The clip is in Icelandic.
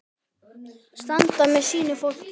Standa með sínu fólki.